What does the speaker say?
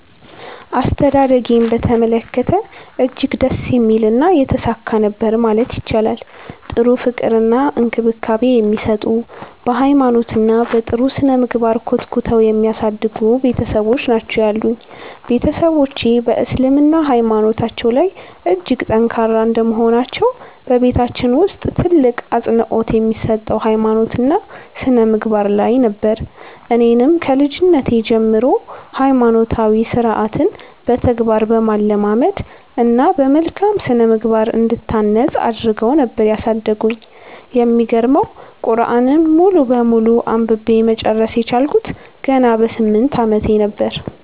አስተዳደጌን በተመለከተ እጅግ ደስ የሚልና የተሳካ ነበር ማለት ይቻላል። ጥሩ ፍቅር እና እንክብካቤ የሚሰጡ፤ በ ሃይማኖት እና በ ጥሩ ስነምግባር ኮትኩተው የሚያሳድጉ ቤትሰቦች ናቸው ያሉኝ። ቤትሰቦቼ በ እስልምና ሃይማኖታቸው ላይ እጅግ ጠንካራ እንደመሆናቸው በቤታችን ውስጥ ትልቅ አፅንኦት የሚሰጠው ሃይማኖት እና ስነምግባር ላይ ነበር። እኔንም ከልጅነቴ ጀምሮ ሃይማኖታዊ ስርዓትን በተግባር በማለማመድ እና በመልካም ስነምግባር እንድታነፅ አድረገው ነበር ያሳደጉኝ። የሚገርመው ቁርዐንን ሙሉ በሙሉ አንብቤ መጨረስ የቻልኩት ገና በ 8 አመቴ ነበር።